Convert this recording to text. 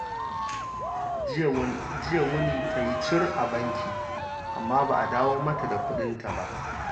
Jiya wuni ta yi cur a banki, amma ba a dawo mata da kuɗinta ba